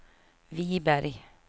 Wiberg